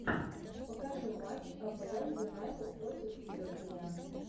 покажи матч апл юнайтед против ливерпуля